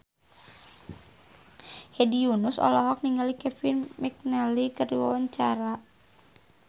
Hedi Yunus olohok ningali Kevin McNally keur diwawancara